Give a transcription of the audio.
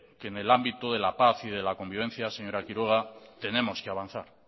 que en el ámbito de la paz y de la convivencia señora quiroga tenemos que avanzar